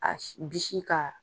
bisi ka